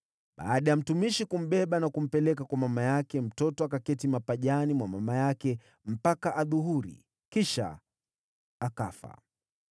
Baada ya mtumishi kumbeba na kumpeleka kwa mama yake, mtoto akaketi mapajani mwa mama yake mpaka adhuhuri, kisha akafa.